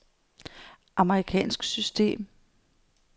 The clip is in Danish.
amerikansk system